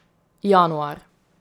Januar.